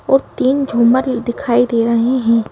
और तीन झूमर दिखाई दे रहें हैं।